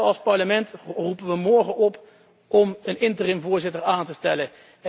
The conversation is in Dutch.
Als Parlement roepen we morgen op om een interim voorzitter aan te stellen.